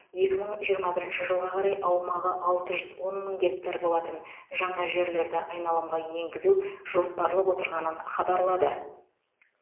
екі мың жиырма бірінші жылға қарай аумағы алты жүз он мың гектар болатын жаңа жерлерді айналымға енгізу жоспарлап отырғанын хабарлады